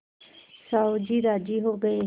साहु जी राजी हो गये